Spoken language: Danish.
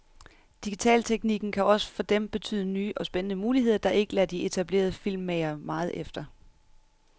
Digitalteknikken kan også for dem betyde nye og spændende muligheder, der ikke lader de etablerede filmmagere meget efter.